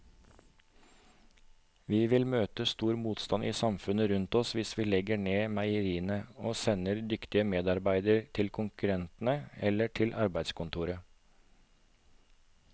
Vi vil møte stor motstand i samfunnet rundt oss hvis vi legger ned meierier og sender dyktige medarbeidere til konkurrentene eller til arbeidskontoret.